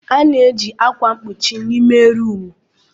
A na-eyuzu akwa bedị n'ime rumụ.